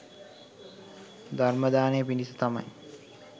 ධර්ම දානය පිණිස තමයි